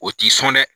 O t'i sɔn dɛ